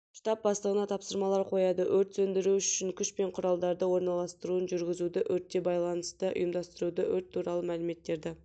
штаб бастығына тапсырмалар қояды өрт сөндіру үшін күш пен құралдарды орналастыруын жүргізуді өртте байланысты ұйымдастыруды өрт туралы мәліметтерді